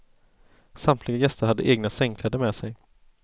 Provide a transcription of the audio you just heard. Samtliga gäster hade egna sängkläder med sig.